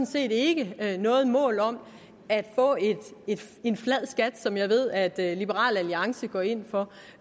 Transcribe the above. set ikke noget mål om at få en en flad skat som jeg ved at liberal alliance går ind for